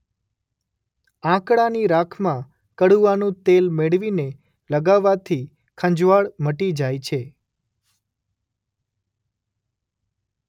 આંકડાની રાખમાં કડુઆનું તેલ મેળવીને લગાવવાથી ખંજવાળ મટી જાય છે.